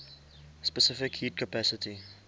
specific heat capacity